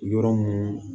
Yɔrɔ mun